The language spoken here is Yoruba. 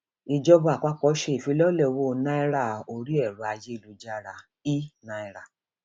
ìjọba àpapọ ṣe ìfilọlẹ owó náírà orí ẹrọ ayélujára ẹnàíra